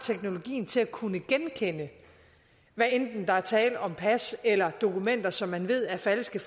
teknologien til at kunne genkende hvad enten der er tale om pas eller dokumenter som man ved er falske